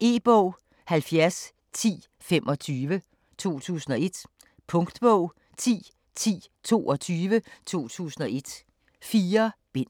E-bog 701025 2001. Punktbog 101022 2001. 4 bind.